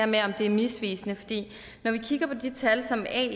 med om det er misvisende når vi kigger på de tal som ae